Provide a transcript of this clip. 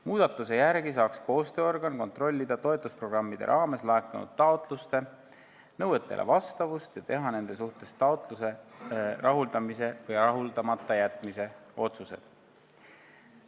Muudatuse järgi saaks koostööorgan kontrollida toetusprogrammide raames laekunud taotluste nõuetele vastavust ja teha taotluse rahuldamise või rahuldamata jätmise otsuseid.